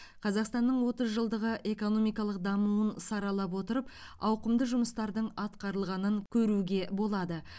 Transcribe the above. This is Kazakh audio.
қазақстанның отыз жылдағы экономикалық дамуын саралап отырып ауқымды жұмыстардың атқарылғанын көруге болады